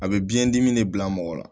A bɛ biyɛn dimi de bila mɔgɔ la